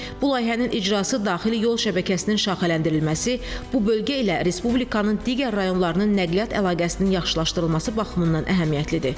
Bu layihənin icrası daxili yol şəbəkəsinin şaxələndirilməsi, bu bölgə ilə respublikanın digər rayonlarının nəqliyyat əlaqəsinin yaxşılaşdırılması baxımından əhəmiyyətlidir.